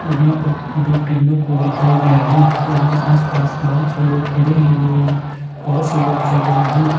यहाँ पर दो ट्रेनों को दिखाया गया है वहीं आस-पास बहुत से लोग खड़े है एवं बहुत से लोग चल रहे हैं।